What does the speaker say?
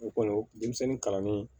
O kɔni denmisɛnnin kalannen